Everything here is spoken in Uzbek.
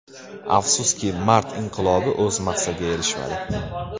Afsuski, mart inqilobi o‘z maqsadiga erishmadi.